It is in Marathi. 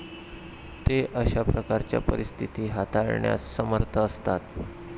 ते अशा प्रकारच्या परिस्थिती हाताळण्यास समर्थ असतात.